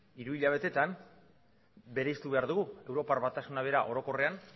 hiruhilabetean bereiztu behar dugu europar batasuna bera orokorrean